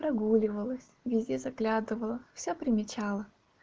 прогуливалась везде заглядывала вся примечала